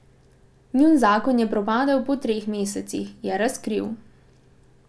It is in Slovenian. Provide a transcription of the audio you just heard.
Njun zakon je propadel po treh mesecih, je razkril.